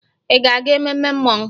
Ị ga-aga ememme mmọnwụ?